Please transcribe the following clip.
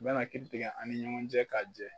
Bɛna ki bonya a' ni ɲɔgɔn cɛ k'a jɛ.